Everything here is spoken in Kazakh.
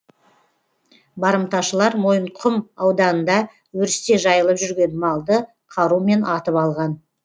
барымташылар мойынқұм ауданында өрісте жайылып жүрген малды қарумен атып алған